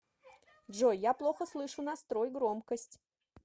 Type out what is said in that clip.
джой я плохо слышу настрой громкость